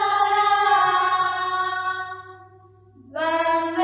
सुहासिनीं सुमधुर भाषिणीं